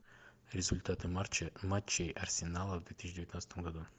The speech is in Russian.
результаты марча матчей арсенала в две тысячи девятнадцатом году